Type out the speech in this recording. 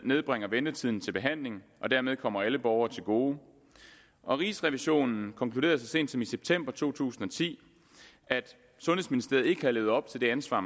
nedbringer ventetiden til behandling og dermed kommer alle borgerne til gode og rigsrevisionen konkluderede så sent som i september to tusind og ti at sundhedsministeriet ikke havde levet op til det ansvar